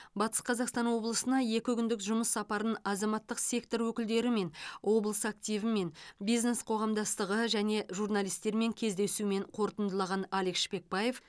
батыс қазақстан облысына екі күндік жұмыс сапарын азаматтық сектор өкілдерімен облыс активімен бизнес қоғамдастығы және журналистермен кездесумен қорытындылаған алик шпекбаев